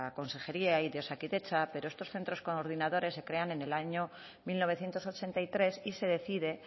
consejería y de osakidetza pero estos centros coordinadores se crean en el año mil novecientos ochenta y tres y se decide